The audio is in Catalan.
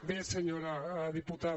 bé senyora diputada